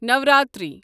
Navratri